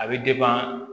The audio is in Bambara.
A bɛ